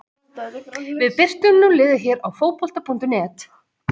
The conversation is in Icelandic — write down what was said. Við birtum nú liðið hér á Fótbolta.net.